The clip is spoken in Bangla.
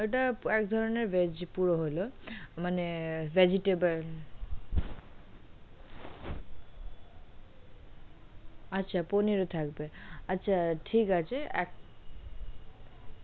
ওটা এক ধরণের veg পুরো হলো মানে vegetable আচ্ছা পনির ও থাকবে আচ্ছা ঠিক আছে।